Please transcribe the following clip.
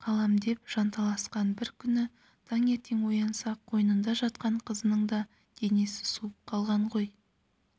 қалам деп жанталасқан бір күні таңертең оянса қойнында жатқан қызының да денесі суып қалған ғой